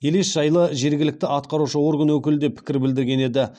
елес жайлы жергілікті атқарушы орган өкілі де пікір білдірген еді